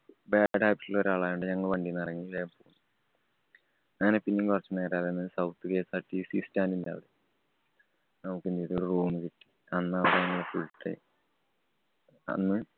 ആളായോണ്ട് ഞങ്ങള് വണ്ടീന്നിറങ്ങി. അങ്ങനെ പിന്നേം കൊറച്ച് നേരം അവിടെ നിന്ന് southKSRTCstand ന്‍റെ അവിടെ നമുക്ക് എന്തീതു ഒരു room കിട്ടി. അന്ന് അവിടാരുന്നു full time അന്ന്